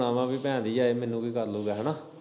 ਹੁਨਾ ਵਾ ਭੈਣ ਦਾ ਯਾਰ ਮੈਨੂੰ ਕੀ ਕਰਲੂਗਾਂ।